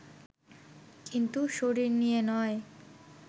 কিন্তু শরীর নিয়ে নয়